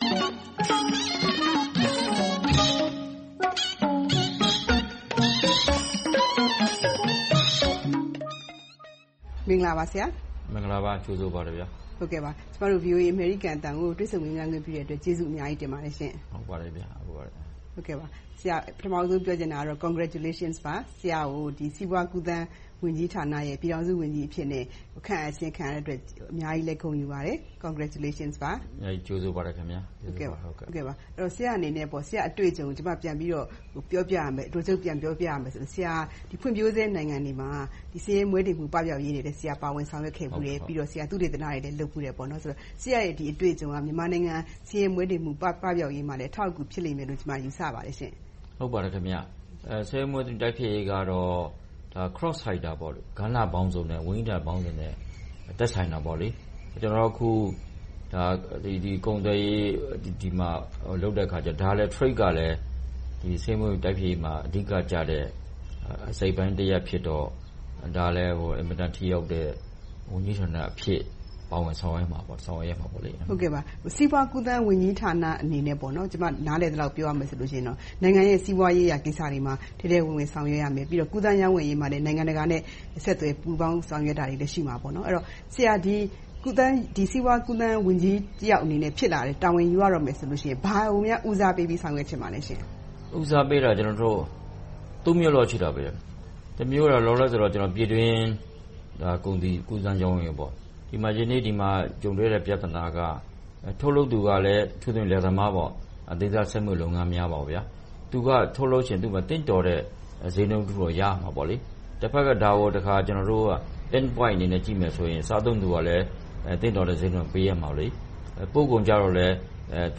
မင်္ဂလာပါ ဆရာ။ မင်္ဂလာပါ။ ကြိုဆိုပါတယ် ကျမတို့ VOA အမေရိကန်အသံကို တွေ့ဆုံမေးမြန်းခွင့်ပြုတဲ့အတွက် ကျေးဇူးအများကြီး တင်ပါတယ်ရှင့်။ ပထမဦးဆုံး ပြောချင်တာကတော့ Congratulations ပါ။ ဆရာကို စီးပွားကူးသန်းဝန်ကြီးဌာနရဲ့ ပြည်ထောင်စုဝန်ကြီးအဖြစ်နဲ့ ခန့်အပ်ခြင်းခံရတဲ့အတွက် အများကြီးလည်း ဂုဏ်ယူပါတယ်။ Congratulations ပါ။ ကြိုဆိုပါတယ်။ ဆရာအနေနဲ့ ဆရာ့အတွေ့အကြုံကို အတိုချုပ်ပြန်ပြောရမယ်ဆိုရင် ဖွံ့ဖြိုးဆဲနိုင်ငံတွေမှာ ဆင်းရဲမွဲတေမှုပပျောက်ရေးတွေလည်း ပါဝင်ဆောင်ရွက်ခဲ့ဖူးတယ်။ သုတေသနတွေလည်း လုပ်ဖူးတယ်။ ဆရာ့ရဲ့ အတွေ့အကြုံက မြန်မာနိုင်ငံ ဆင်းရဲမွဲတေမှုပပျောက်ရေးမှာလည်း အထောက်အကူ ဖြစ်လိမ့်မယ်လို့ ကျမ ယူဆပါတယ်ရှင့်။ ဆင်းရဲမွဲတေမှုပပျောက်ရေးကတော့ Cross Sectors ကဏ္ဍပေါင်းစုံ နဲ့ ဝန်ကြီးဌာနပေါင်းစုံနဲ့ သက်ဆိုင်တာပေါ့။ ကျနော်တို့ အခု ကုန်သွယ်ရေး လုပ်တဲ့အခါမှာ Trade ကလည်း ဆင်းရဲမွဲတေပပျောက်ရေးမှာ အဓိကကျတဲ့ အစိတ်အပိုင်းတရပ်ဖြစ်တော့ ဒါလဲ အင်မတန် ထိရောက်တဲ့ ဝန်ကြီးဌာနအဖြစ် ပါဝင်ဆောင်ရွက်မှာပေါ့။ ပါဝင်ဆောင်ရွက်ပါလိမ့်မယ်။ စီးပွားကူးသန်းဝန်ကြီးဌာနအနေနဲ့ ကျမ နားလည်သလောက် ပြောရမယ်ဆိုရင်တော့ နိုင်ငံရဲ့ စီးပွားရေးရာကိစ္စတွေမှာ ထဲထဲဝင်ဝင် ဆောင်ရွက်ရမယ်။ ကူးသန်းရောင်းဝယ်ရေးမှာလည်း နိုင်ငံတကာနဲ့ ဆက်သွယ်ပူးပေါင်းဆောင်ရွက်တာတွေလည်း ရှိမှာပေါ့။ ဆရာ စီးပွားကူးသန်းဝန်ကြီးတယောက်အနေနဲ့ တာဝန်ယူရတော့မယ်ဆိုရင် ဘာကိုများ ဦးစားပေးဆောင်ရွက်ချင်ပါလဲရှင့်။ ဦးစားပေးတာ ကျနော်တို့ မျိုးလောက်ရှိတယ်။ တမျိုးကတော့ လောလောဆယ် ပြည်တွင်းကုန်စည်ကူးသန်းရောင်းဝယ်ရေးပေါ့။ ဒီနေ့ ဒီမှာ ကြုံတွေ့ရတဲ့ ပြဿနာက ထုတ်လုပ်သူက အထူးသဖြင့် လယ်သမားပါ။ ဒေသစက်မှုလုပ်ငန်းများ - သူက ထုတ်လုပ်ချင်ရင် သင့်တော်တဲ့ ဈေးနှုန်းတခုတော့ ရရမှာပေါ့။ တဖက်က ဒါကို ကျနော်တို့က Think Point အနေနဲ့ ကြည့်မယ်ဆိုရင် စားသုံးသူကလည်း သင့်တော်တဲ့ ဈေးနှုန်းကို ပေးရမယ်။ ပို့ကုန်ကြတော့လဲ သ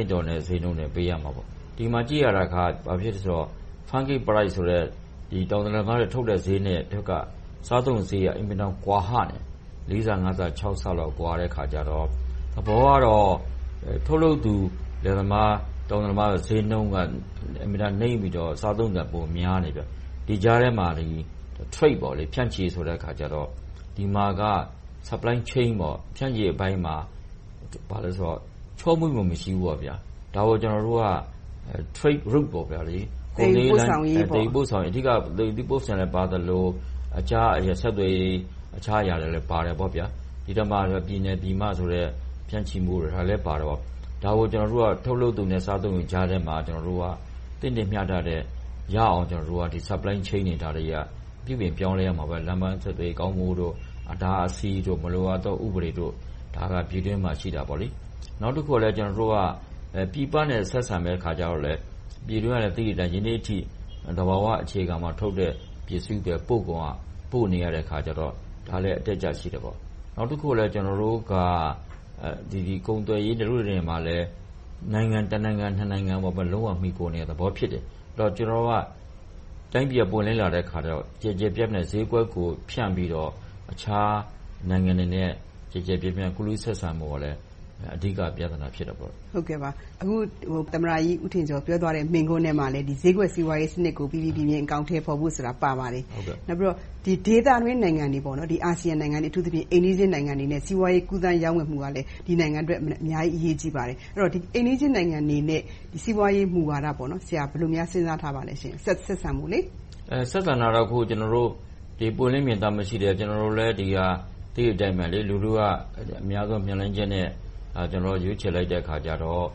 င့်တော်တဲ့ ဈေးနှုန်းပေးရမှာပေါ့။ ဒီမှာ ကြည့်ရတာက ဘာဖြစ်လဲဆိုတော့ တောင်သူလယ်သမားတွေ ထုတ်တဲ့ဈေးနဲ့ စားသုံးသူဈေးက အင်မတန် ကွာဟနေတယ်။ လေးဆ၊ ငါးဆ၊ ခြောက်ဆလောက် ကွာတဲ့အခါကြတော့ သဘောကတော့ ထုတ်လုပ်သူ တောင်သူလယ်သမားဈေးနှုန်းက အင်မတန်နိမ့်ပြီးတော့ စားသုံးသူက ပိုများနေတယ်။ ဒီကြားထဲမှာ Trade ဖြန့်ချီတဲ့အခါကြတော့ ဒီမှာက Supply Chain ဖြန့်ချီရေးအပိုင်းမှာ ဘာလဲဆိုတော့ ချောမွေ့မှု မရှိဘူးပေါ့။ ဒါကို ကျနော်တို့က Trade Route သယ်ယူပို့ဆောင်ရေး အဓိကပါသလို၊ တခြား ဆက်သွယ်ရေး အခြားအရာတွေလည်း ပါတယ်ပေါ့။ ပြည်နယ်ပြည်မဆိုတဲ့ ဖြန့်ချီမှုတွေပါတော့ ဒါကို ကျနော်တို့က ထုတ်လုပ်သူနဲ့ စားသုံးသူကြားထဲမှာ သင့်တင့်မျှတမှုရအောင် Supply Chain တွေ ပြုပြင်ပြောင်းလဲရဖို့အတွက် လမ်းပန်းဆက်သွယ်ရေး ကောင်းမွန်ဖို့၊ အတားအဆီးတို့၊ မလိုအပ်တဲ့ ဥပဒေတွေ ဒါတွေက ပြည်တွင်းမှာရှိတာပေါ့။ နောက်တခုက ပြည်ပနဲ့ ဆက်ဆံတဲ့အခါကြတော့လဲ ပြည်တွင်းက သိတဲ့အတိုင်း ယနေ့အထိ သဘာဝအခြေခံပေါ်ထုတ်တဲ့ ပစ္စည်းတွေ၊ ပို့ကုန်တွေကို ပို့နေရတော့ ဒါကလဲ အတတ်အကျ ရှိတယ်ပေါ့။ နောက်တခုက ကျနော်တို့က ကုန်သွယ်ရေးမှာလည်း နိုင်ငံ တနိုင်ငံ၊ နှစ်နိုင်ငံကို လုံးဝမှီခိုနေရတဲ့ သဘောဖြစ်တယ်။ တိုင်းပြည်က ပွင့်လင်းလာတဲ့အခါကြတော့ ကျယ်ကျယ်ပြန့်ပြန့် ဈေးကွက်ကို ဖြန့်ပြီးတော့ တခြားနိုင်ငံတွေနဲ့ ကျယ်ကျယ်ပြန့်ပြန့် ကူးလူးဆက်ဆံဖို့ကလဲ အဓိက ပြဿနာဖြစ်တယ်။ အခု သမ္မတကြီးဦးထင်ကျော် ပြောသွားတဲ့ မိန့်ခွန်းထဲမှာလည်း ဈေးကွက်စီးပွားရေးစနစ်ကို ပီပီပြင်ပြင် အကောင်အထည်ဖော်ဖို့ဆိုတာ ပါပါတယ်။ နောက်ပြီးတော့ ဒေသတွင်း နိုင်ငံတွေ အာဆီယံနိုင်ငံတွေ၊ အထူးသဖြင့် အိမ်နီးချင်းနိုင်ငံတွေနဲ့ စီးပွားရေး ကူးသန်းရောင်းဝယ်မှုကလည်း ဒီနိုင်ငံအတွက် အများကြီး အရေးကြီးပါတယ်။ အိမ်နီးချင်းနိုင်ငံအနေနဲ့ စီးပွားရေးမူဝါဒကို ဘယ်လိုစဉ်းစားထားပါလဲ။ ဆက်ဆံမှုပေါ့။ ဆက်ဆံတာတော့ ကျနော်တို့ ပွင့်လင်းမြင်သာမှုလည်းရှိတယ်။ သိတဲ့အတိုင်း လူထုက မျှော်လင့်ချက်နဲ့ ရွေးချယ်လိုက်တဲ့အခါကြတော့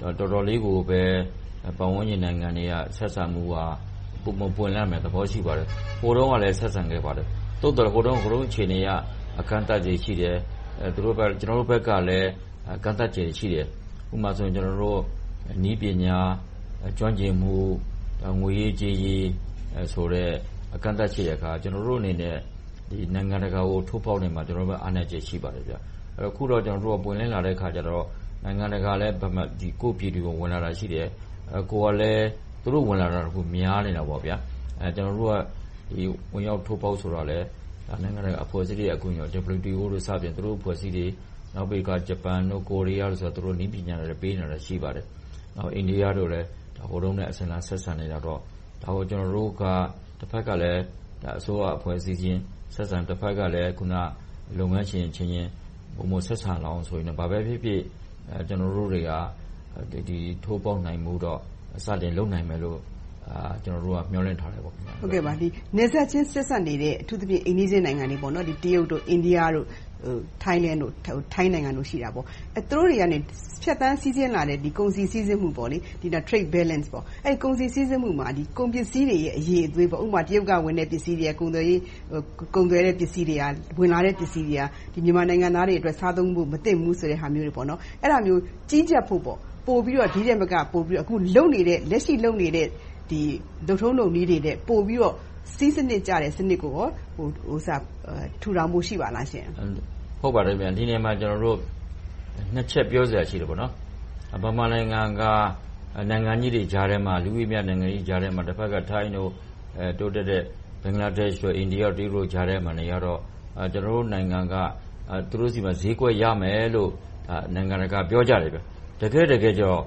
တော်တော်လေးကိုပဲ ပတ်ဝန်းကျင်နိုင်ငံတွေက ဆက်ဆံမှုက ပွင့်လင်းလာတဲ့သဘော ရှိပါတယ်။ ဟိုတုန်းကလည်း ဆက်ဆံခဲ့ပါတယ်။ သို့သော် ဟိုတုန်းအခြေအနေအရ အကန့်အသတ်တွေ ရှိတယ်။ ကျနော်တို့ဖက်ကလည်း အကန့်အသတ်တွေ ရှိတယ်။ ဥပမာ နည်းပညာ ကျွမ်းကျင်မှု၊ ငွေရေးကြေးရေးဆိုတဲ့ ကန့်သတ်ချက်တွေက ကျနော်တို့အနေနဲ့ နိုင်ငံတကာကို ထိုးဖောက်ရာမှာ အားနည်းချက်တွေ ရှိပါတယ်။ အခုတော့ ပွင့်လင်းလာတဲ့အခါကြတော့ နိုင်ငံတကာလည်း ကိုယ့်ပြည်တွင်းကို ဝင်လာတာ ရှိတယ်။ ကိုယ့်ကလည်း သူက ဝင်လာတာ များနေတာပေါ့။ ကျနော်တို့က ဝင်ရောက်ထိုးဖောက်ဆိုတာလဲ နိုင်ငံတကာအဖွဲ့အစည်းတွေ အကူအညီ WTO စတဲ့ အဖွဲ့အစည်း၊ နောက်တခါ ဂျပန်၊ ကိုးရီးယားတို့ နည်းပညာတွေ ပေးနေတာတွေ ရှိပါတယ်။ အိန္ဒိယတို့လည်း ဟိုတုန်းက အစဉ်အလာ ဆက်ဆံလာတော့ ဒါကို ကျနော်တို့က တဖက်ကလဲ အစိုးရအဖွဲ့အစည်းအချင်းချင်း ဆက်ဆံ။ တဖက်ကလဲ လုပ်ငန်းရှင်အချင်းချင်း ပုံမှန်ဆက်ဆံလာအောင် ဘာပဲဖြစ်ဖြစ် ကျနော်တို့တွေက ထိုးဖောက်နိုင်ဖို့တော့ စတင်လုပ်နိုင်မယ်လို့ မျှော်လင့်ထားတယ်။ နယ်စပ်ချင်း ဆက်စပ်နေတဲ့၊ အထူးသဖြင့် အိမ်နီးချင်းနိုင်ငံတွေ - တရုတ်၊ အိန္ဒိယ၊ ထိုင်းနိုင်ငံတို့ ရှိတာပေါ့။ သူတို့တွေက ဖြတ်သန်းစီးဆင်းလာတဲ့ ကုန်စည်စီးဆင်းမှု Trade Balance မှာ ကုန်ပစ္စည်းတွေရဲ့ အရည်အသွေး၊ ဥပမာ တရုတ်ကဝင်တဲ့ ကုန်သွယ်တဲ့ ပစ္စည်းတွေက မြန်မာနိုင်ငံသားတွေအတွက် စားသုံးဖို့ မသင့်ဘူးဆိုတဲ့ဟာမျိုးတွေပေါ့။ အဲဒါမျိုး ကြီးကြပ်ဖို့ ပိုပြီးတော့ ဒီထက်မက လက်ရှိလုပ်နေတဲ့ လုပ်ထုံးလုပ်နည်းတွေအတွက် ပိုပြီးတော့ စည်းစနစ်ကျတဲ့ စနစ်ကို ထူထောင်ဖို့ ရှိပါလားရှင့်။ ဒီနေရာမှာ နှစ်ချက်ပြောစရာ ရှိပါတယ်။ ဗမာနိုင်ငံက နိုင်ငံကြီးတွေကြားထဲမှာ၊ လူဦးရေများတဲ့ နိုင်ငံတွေကြားမှာ၊ ထိုင်းတို့ တိုးတက်တဲ့ ဘင်္ဂလားဒေ့ရှ်၊ အိန္ဒိယ၊ တရုတ်တို့ကြားထဲမှာ နေရတော့ ကျနော်တို့နိုင်ငံက သူတို့ဆီမှာ ဈေးကွက်ရမယ်လို့ နိုင်ငံတကာက ပြောကြတယ်ဗျ။ တကယ့်တကယ်တော့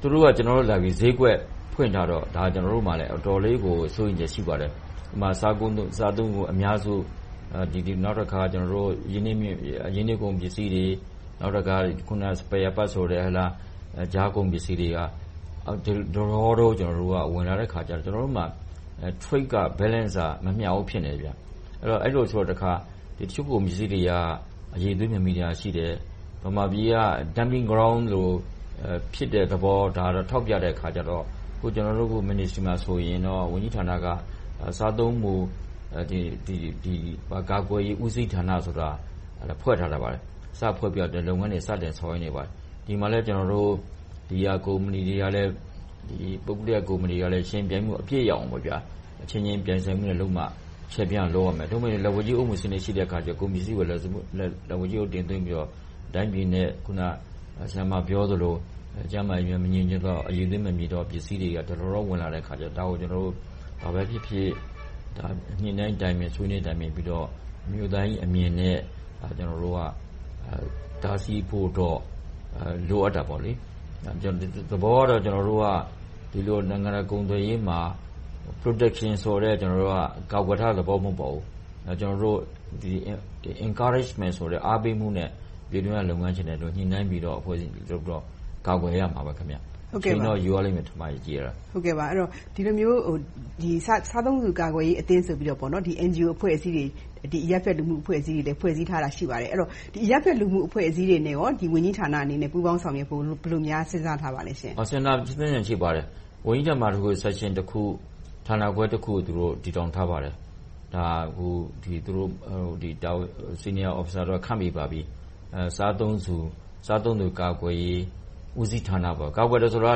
သူတို့က ကျနော်တို့ဆီလာပြီး ဈေးကွက်ဖွင့်ထားတော့ ကျနော်တို့မှာလည်း အတော်လေးကို စိုးရိမ်စိတ် ရှိပါတယ်။ စားသုံးကုန်အများစု၊ နောက်တခါ -- ပစ္စည်းတွေ၊ နောက်တခါ Spare parts ကြားကုန်ပစ္စည်းတွေက ဒလဟော ဝင်လာတဲ့အခါကြတော့ Trade က Balance က မမျှဘူး ဖြစ်နေတယ်။ အဲဒီလိုဆိုတော့ တခါ တချို့ကုန်ပစ္စည်းတွေက အရည်အသွေး မမီတာရှိတယ်။ ဗမာပြည်ကြီးက Dumping Ground လို ဖြစ်တဲ့သဘော ထောက်ပြတဲ့အခါကြတော့ ကျနော်တို့ Ministry ဝန်ကြီးဌာနမှာဆိုရင် ဝန်ကြီးဌာနက စားသုံးကုန်ကာကွယ်ရေး ဦးစီးဌာနကို ဖွဲ့ထားပါတယ်။ စဖွဲ့ထားပြီး လုပ်ငန်းတွေ စတင်လုပ်ဆောင်နေပါတယ်။ ဒီမှာလည်း ဘီယာကုမ္ပဏီတွေက ပုဂ္ဂလိကုမ္ပဏီကလည်း ယှဉ်ပြိုင်မှု အပြည့်ရအောင်၊ အချင်းချင်းပြိုင်ဆိုင်မှုနဲ့လုပ်မှ - သို့မဟုတ် လက်ဝါးကြီးအုပ်မှု ရှိတဲ့အခါကြတော့ ကုန်ပစ္စည်းကိုလည်း လက်ဝါးကြီးအုပ် တင်သွင်းပြီးတော့ တိုင်းပြည်နဲ့ အခုန ဆရာမပြောသလို ကျန်းမာရေး မညီညွှတ်သော၊ အရည်အသွေးမမီတဲ့ ပစ္စည်းတွေ ဒလဟော ဝင်လာတော့ ဒါကို ဘာပဲဖြစ်ဖြစ် ညှိနှိုင်းတိုင်ပင်ဆွေးနွေးပြီးတော့ -အမြင်နဲ့ တားဆီးဖို့တော့ လိုအပ်တာပေါ့။ သဘောကတော့ ကျနော်တို့က နိုင်ငံတော်ကုန်သွယ်ရေးမှာ Protection ကတော့ ကာကွယ်မှု မဟုတ်ပါဘူး။ Encourage အားပေးခြင်းနဲ့ ပြည်တွင်းက လုပ်ငန်းရှင်တွေကို ညှိနှိုင်းပြီးတော့ ကာကွယ်ရမှာပါ။ အချိန်တော့ ယူရပါလိမ့်မယ်။ ဒီလိုမျိုး စားသုံးသူကာကွယ်ရေးအသင်းဆိုပြီးတော့ NGO အဖွဲ့အစည်းတွေ၊ အရပ်ဖက်လူမှု့အဖွဲ့အစည်းတွေ ဖွဲ့စည်းထားတာ ရှိပါတယ်။ ဒီအရပ်ဖက်လူမှု့အဖွဲ့အစည်းတွေနဲ့ ဝန်ကြီးဌာနအနေနဲ့ ပူးပေါင်းဆောင်ရွက်ဖို့ ဘယ်လိုများ စဉ်းစားထားပါလဲရှင့်။ စဉ်းစားထားတာ ရှိပါတယ်။ ဦးစီးဌာနတခု၊ Section ဌာနတခု၊ ဌာနခွဲတခု သူတို့ တည်ထောင်ထားပါတယ်။ Senior officers တွေ ခန့်ပြီးပါပြီ။ စားသုံးသူကာကွယ်ရေးဦးစီးဌာန - ကာကွယ်တယ်ဆိုတာ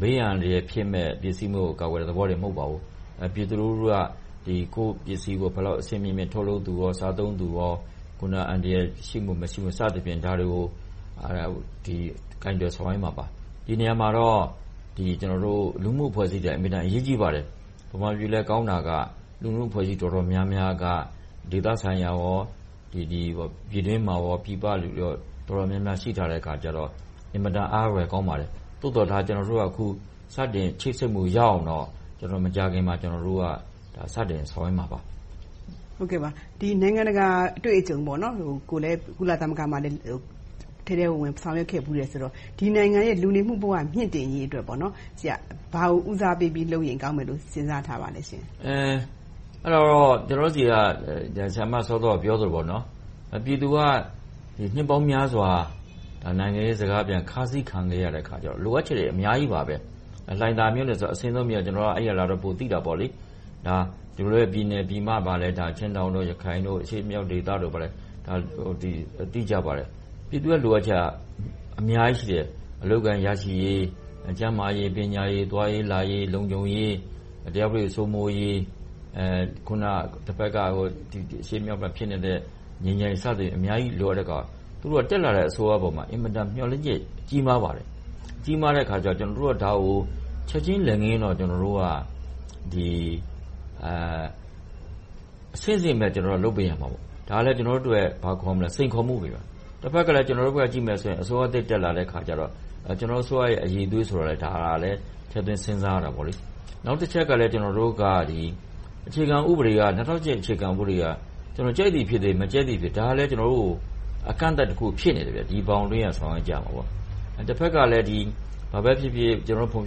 ဘေးအန္တရာယ်ဖြစ်မယ့် ပစ္စည်းမျိုးကို ကာကွယ်တဲ့ သဘောမျိုးလည်း မဟုတ်ပါဘူး။ ပြည်သူလူထုက ကိုယ့်ပစ္စည်းကို ဘယ်လောက် အဆင့်မြင့်မြင့်နဲ့ ထုတ်လုပ်သူ၊ စားသုံးသူ အန္တရာယ်ရှိမှု၊ မရှိမှု ဒါတွေကို ကိုင်တွယ်ဆောင်ရွက်မှာပါ။ ဒီနေရာမှာတော့ လူမှု့အဖွဲ့အစည်းတွေက အင်မတန် အရေးကြီးပါတယ်။ ဗမာပြည်မှာ ကောင်းတာက လူမှု့အဖွဲ့အစည်း တော်တော်များများက ဒေသဆိုင်ရာ၊ ပြည်တွင်းပြည်ပ တော်တော်များများ ရှိထားတော့ အတော်အားရဖို့ ကောင်းပါတယ်။ သို့သော် ကျနော်တို့က စတင်ချိတ်ဆက်မှု ရလာတော့ မကြာခင်မှာ စတင်ဆောင်ရွက်မှာပါ။ နိုင်ငံတကာ အတွေ့အကြုံကိုလည်း ကုလသမဂ္ဂမှာ ထဲထဲဝင်ဝင် ဆောင်ရွက်ခဲ့ဖူးတယ်ဆိုတော့ ဒီနိုင်ငံရဲ့ လူနေမှုဘဝ မြှင့်တင်ရေးအတွက် ဘာကို ဦးစားပေးလုပ်ရင် ကောင်းမလဲလို့ စဉ်းစားထားပါလဲရှင့်။ အဲဒါကတော့ စောစောက ဆရာမပြောသလို ပြည်သူက နှစ်ပေါင်းများစွာ နိုင်ငံရေးခါးစီးခံခဲ့ရတော့ လိုအပ်ချက်တွေ အများကြီးပါပဲ။ လှိုင်သာယာမြို့နယ်ဆိုတာ အစွန်းဆုံးက ကျနော်က လာတယ်ဆိုတော့ ပိုသိတာပေါ့။ ဒီလိုပဲ ပြည်နယ်ပြည်မ ချင်းတောင်၊ ရခိုင်၊ အရှေ့မြောက်ဒေသတွေမှာလည်း ပြည်သူရဲ့ လိုအပ်ချက်က အများကြီးရှိတယ်။ အလုပ်အကိုင် ရရှိရေး၊ ကျန်းမာရေး၊ ပညာရေး၊ သွားရေးလာရေး၊ လုံခြုံရေး၊ တရားဥပဒေ စိုးမိုးရေး၊ တဖတ်က အရှေ့မြောက်မှာ ဖြစ်နေတဲ့ ငြိမ်းချမ်းရေး စသဖြင့် အများကြီး လိုအပ်နေတာ။ သူတို့က တက်လာတဲ့ အစိုးရအပေါ် အင်မတန် မျှော်လင့်ချက် ကြီးမားပါတယ်။ ကြီးမားတဲ့အခါကြတော့ ကျနော်တို့က ဒါကို ချက်ချင်းလက်ငင်းတော့ ကျနော်တို့က အဆင့်ဆင့်တော့ လုပ်ပေးနိုင်မှာ။ ဒါက ကျနော်တို့အတွက် စိန်ခေါ်မှု၊ တဖက်က ကျနော်တို့ဖက်ကို ကြည့်မယ်ဆိုရင် အစိုးရသစ် တက်လာတဲ့အခါကြတော့ ကျနော်တို့အစိုးရရဲ့ အရည်အသွေးကိုလည်း ထည့်သွင်းစဉ်းစားရမှာပေါ့။ နောက်တချက်ကလည်း ကျနော်တို့က အခြေခံဥပဒေအရ ၂၀၀၈ အရ ကြိုက်သည်ဖြစ်စေ၊ မကြိုက်သည်ဖြစ်စေ ဒါကလဲ အကန့်အသတ်တခု ဖြစ်နေတယ်။ ဒီဘောင်အတွင်းက ဆောင်ရွက်ကြရတာ။ တဖက်ကလဲ ကျနော်တို့ ဖွံ့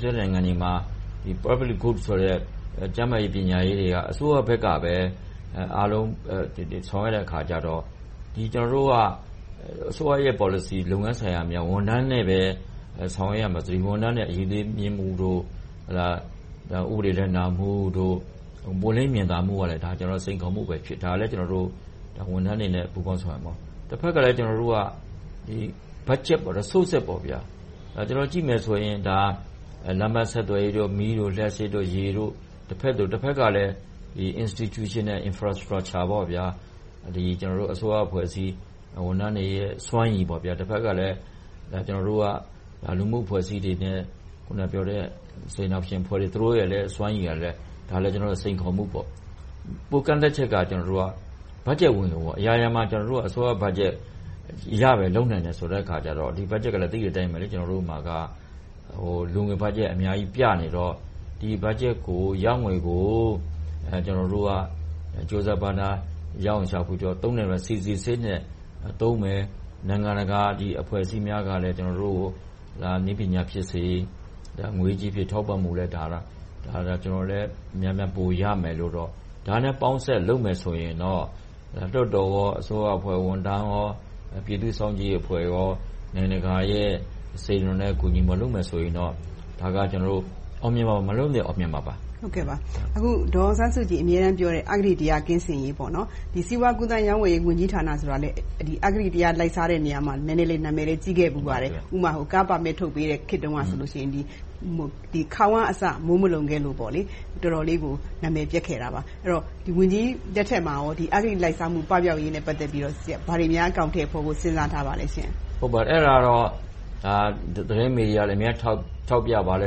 ဖြိုးနိုင်ငံတွေမှာ ကျန်းမာရေး၊ ပညာရေးတွေက အစိုးရဖက်ကပဲ အားလုံးဆောင်ရွက်တဲ့အခါကြတော့ ကျနော်တို့က အစိုးရရဲ့ ပေါ်လစီ၊ လုပ်ငန်းဆောင်တာများ၊ ဝန်ထမ်းများအတွက်လည်း ဆောင်ရွက်ရမယ်။ ဝန်ထမ်းတွေ အရည်အသွေးမြှင့်မှု - ဥပဒေလိုက်နာမှု၊ ပွင့်လင်းမြင်သာမှုကလည်း စိန်ခေါ်မှုဖြစ်တယ်။ ဝန်ထမ်းတွေလည်း ပူးပေါင်းဆောင်ရွက်ရမယ်။ တဖတ်ကလဲ Resources ကို ကြည့်မယ်ဆိုရင်လဲ လမ်းပန်းဆက်သွယ်ရေး၊ မီးလျှပ်စစ်၊ ရေ။ တဖက်ကလဲ Institutional Infrastructure အစိုးရအဖွဲ့အစည်း ဝန်ထမ်းတွေရဲ့ စွမ်းရည်။ တဖက်ကလဲ လူမှု့အဖွဲ့အစည်းတွေနဲ့ စေတနာရှင်အဖွဲ့အစည်းတွေရဲ့ စွမ်းရည်ကလည်း စိန်ခေါ်မှုပေါ့။ ကန့်သတ်ချက်က ဘတ်ဂျက်ဝင်ငွေပေါ့။ အရာရာမှာ အစိုးရဘတ်ဂျက်ရရင် လုပ်နိုင်တယ်ဆိုတော့ ဒီဘတ်ဂျက်ကလဲ သိတဲ့အတိုင်းပဲ ကျနော်တို့မှာက လိုငွေဘတ်ဂျက် အများကြီးပြနေတော့ ဒီဘတ်ဂျက်ရငွေကို ကျနော်တို့က ကြိုးစားပမ်းစား ရအောင်ရှာဖွေပြီး သုံးနိုင်မယ်။ အစီအစဉ်နဲ့ သုံးမယ်။ နိုင်ငံတကာအဖွဲ့အစည်းများကလည်း နည်းပညာဖြစ်စေ၊ ငွေကြေးအားဖြင့် ထောက်ပံ့မှာပါ။ ကျနော်လည်း များများပိုရမယ်လို့။ ဒါနဲ့ ပေါင်းစပ်လုပ်မယ်ဆိုရင်တော့ လွှတ်တော်၊ အစိုးရအဖွဲ့ဝန်ထမ်း၊ ပြည်သူ့စောင့်ကြည့်ရေးအဖွဲ့၊ နိုင်ငံတကာရဲ့ ကူညီမှုနဲ့ လုပ်မယ်ဆိုရင်တော့ အောင်မြင်အောင် လုပ်နိုင်မှာပါ။ ဒေါ်အောင်ဆန်းစုကြည် အမြဲတမ်းပြောတဲ့ အဂတိတရား ကင်းစင်ရေး။ ဒီ စီးပွားကူးသန်းရောင်းဝယ်ရေး ဝန်ကြီးဌာနဆိုတာလဲ အဂတိလိုက်စားတဲ့နေရာမှာ နံမည်လည်း ကြီးခဲ့ဖူးပါတယ်။ ဥပမာ ကားပါမစ် ထုတ်ပေးတဲ့ကာလတုန်းကဆိုရင် ခေါင်အစ မိုးမလုံခဲ့လို့ တော်တော်လေးကို နာမည်ပျက်ခဲ့တာပါ။ ဆိုတော့ ဝန်ကြီးလက်ထက်မှာ အဂတိလိုက်စားမှု ကင်းစင်ရေးနဲ့ ပတ်သက်ပြီး ဘာတွေများ အကောင်အထည်ဖော်ဖို့ စဉ်းစားထားပါလဲရှင့်။ ဒါတွေက - ထောက်ပြတာလဲ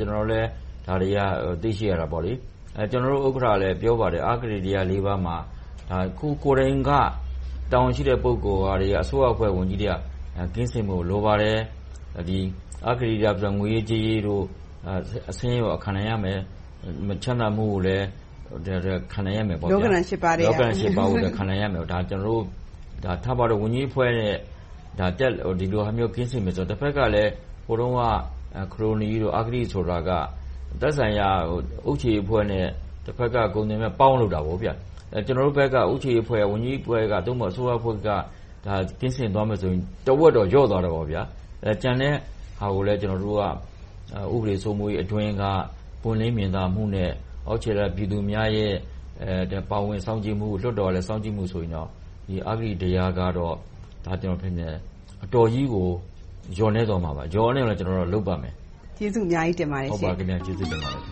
တွေ့ရှိရတာပေါ့။ ကျနော်တို့ ဥက္ကဋ္ဌကလည်း ပြောပါတယ်။ အဂတိတရား ပါးမှာ ကိုယ်ကိုယ်တိုင်က၊ တာဝန်ရှိတဲ့ ပုဂ္ဂိုလ်တွေ၊ အစိုးရအဖွဲ့ လူကြီးတွေက ကင်းစင်ဖို့ လိုပါတယ်။ အဂတိလိုက်ပြီး ငွေရေးကြေးရေးတို့ အဆင်းရဲကို ခံနိုင်ရမယ်။ မချမ်းသာမှုကိုလည်း ခံနိုင်ရမယ်။ လောကဓံ ရှစ်ပါးထဲက… လောကဓံ ရှစ်ပါးထဲက။ ဝန်ကြီးဌာနတွေက ကင်းစင်ရမယ်ဆိုတာက ဟိုတုန်းက ခရိုနီ၊ အဂတိဆိုတာက သက်ဆိုင်ရာအုပ်ချုပ်ရေးအဖွဲ့နဲ့ တဖက်က ကုန်သည်နဲ့ ပေါင်းလုပ်တာကို။ ကျနော်ဖက်က အုပ်ချုပ်ရေးဖက်၊ ဝန်ကြီးတဦးက၊ အစိုးရအဖွဲ့က ကင်းစင်ကြမယ်ဆိုရင် လျော့တော့လျော့သွားလိမ့်မယ်။ ကျန်တဲ့ဟာကိုများ ကျနော်တို့က ဥပဒေစိုးမိုးရေးအတွင်းက ပွင့်လင်းမြင်သာမှုနဲ့ အောက်ခြေက ပြည်သူများရဲ့ ပါဝင်စောင့်ကြည့်မှု၊ လွှတ်တော်ကလည်း စောင့်ကြည့်မယ်ဆိုရင်တော့ အဂတိတရားကတော့ အတော်ကြီးကို လျော့နည်းသွားမှာပါ။ လျော့နည်းသွားအောင် ကျနော်တို့ လုပ်ပါမယ်။ ကျေးဇူးအများကြီး တင်ပါတယ်ရှင်။ ကျေးဇူးတင်ပါတယ်